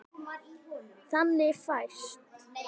Þannig fæst